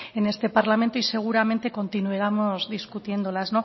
en este parlamento y seguramente continuaremos discutiéndolas